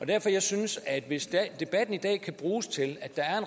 derfor jeg synes at hvis debatten i dag kan bruges til at der er